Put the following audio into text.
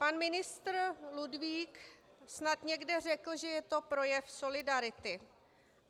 Pan ministr Ludvík snad někde řekl, že je to projev solidarity.